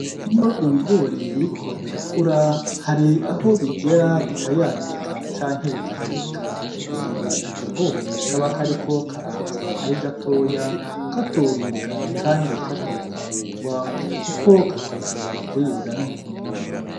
Iyo ibigori biriko birakura hari aho bigera bikayangika canke bigaheka nigihe akagori kaba kariko karaza ari gatoya katoribwa kandi katokwamugwa kuko katoshobora kuribwa n' umuntu numve.